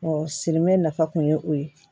sirimɛ nafa kun ye o ye